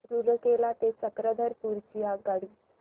रूरकेला ते चक्रधरपुर ची आगगाडी